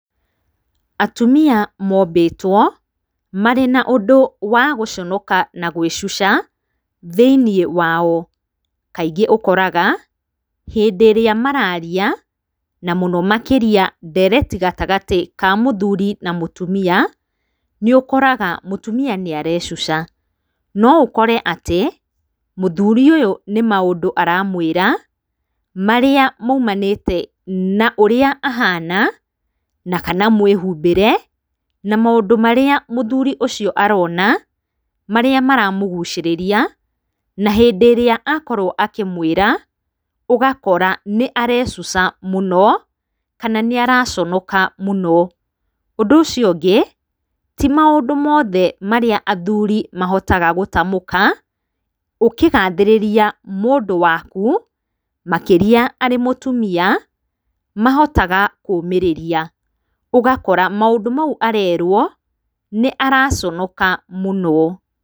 Atumia moombĩtwo, marĩ na ũndũ wa gũconoka na gwĩcuca thĩinĩ wao, kaingĩ ũkoraga hĩndĩ ĩrĩa mararia na mũno makĩria ndereti gatagatĩ ka mũthuuri na mũtumia, nĩũkoraga mũtumia nĩarecuca, noũkore atĩ, mũthuuri ũyũ nĩ maũndũ aramwĩra marĩa maumanĩte na ũrĩa ahana, na kana mwĩhumbĩre na maũndũ marĩa mũthuuri ũcio aroona, marĩa maramũguucĩrĩria, na hĩndĩ ĩrĩa akorwo akĩmwĩra, ũgakora nĩarecuca mũno, kana nĩaraconoka mũno. Ũndũ ũcio ũngĩ, ti maũndũ moothe marĩa athuuri mahotaga gũtamũka, ũkĩgathĩrĩria mũndũ waku, makĩria arĩ mũtumia, mahotaga kũũmĩrĩria, ũgakora maũndũ mau arerwo, nĩaraconoka mũno.